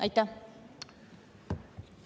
Aitäh!